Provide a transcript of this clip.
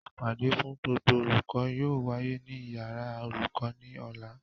Ìpàdé fún gbogbo olùkọ́ yóò wáyé ní yàrá olùkọ́ ní Ọ̀la